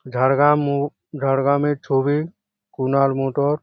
ঝাড়গ্রাম মোড়। ঝাড়গ্রামের ছবি। কুনাল মোটর ।